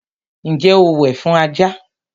Ǹjẹ́ o wẹ̀ fún ajá?